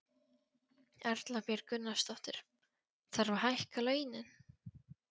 Erla Björg Gunnarsdóttir: Þarf að hækka launin?